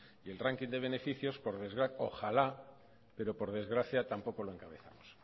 y el ranking de beneficios ojalá pero por desgracia tampoco lo encabezamos